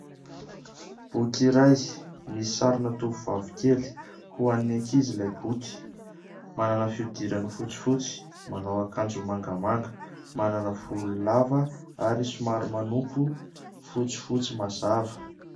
Boky iray misy sarina tovovavy kely, ho an'ny ankizy ilay boky. Manana fiodirana fotsifotsy, manao akanjo mangamanga, manana volo lava ary solary manompy fotsifotsy mazava.